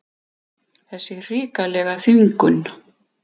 Þessa hrikalegu þvingun.